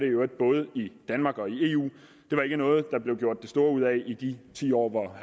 øvrigt både i danmark og i eu det var ikke noget der blev gjort det store ud af i de ti år hvor